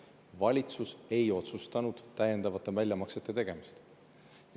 Valitsus ei otsustanud teha täiendavaid väljamakseid.